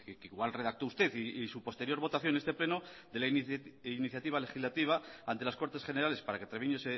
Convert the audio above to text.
que igual redactó usted y su posterior votación en este pleno de la iniciativa legislativa ante las cortes generales para que treviño